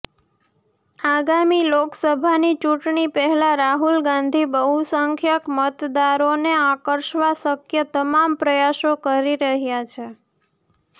આગામી લોકસભાની ચૂંટણી પહેલાં રાહુલ ગાંધી બહુસંખ્યક મતદારોને આકર્ષવા શક્ય તમામ પ્રયાસો કરી રહ્યાં છે